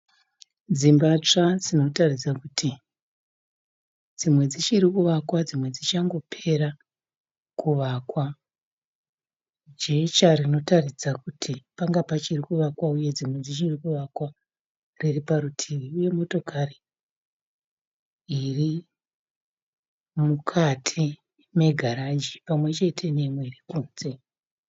Dzimba tsva dzinotaridza kuti dzimwe dzichiri kuvakwa dzimwe dzichangopera kuvakwa. Jecha rinotaridza kuti panga pachiri kuvakwa uye dzimwe dzichiri kuvakwa riri parutivi uye motokari irimukati megaraji pamwechete neimwe iri kunze.